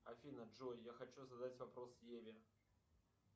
афина джой я хочу задать вопрос еве